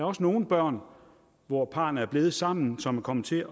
også nogle børn hvor parrene er blevet sammen som er kommet til